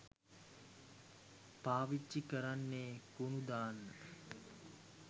පාවිච්චි කරන්නෙ කුණු දාන්න.